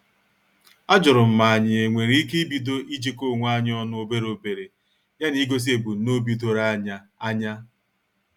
Ajurum ma anyị enwere ike ibido ijiko onwe anyị ọnụ obere obere ya na igosi ebumnobi doro anya. anya.